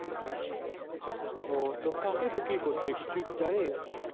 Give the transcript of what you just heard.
ও তো কাকে বিক্রি করছে কিছু কি জানিস?